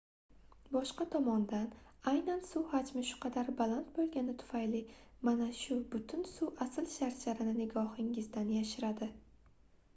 boshqa tomondan aynan suv hajmi shu qadar baland boʻlgani tufayli mana shu butun suv asl sharsharani nigohingizdan yashiradi